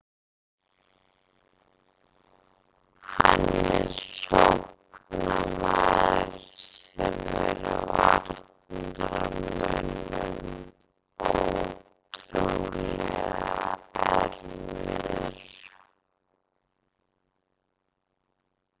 Hann er sóknarmaður sem er varnarmönnum ótrúlega erfiður.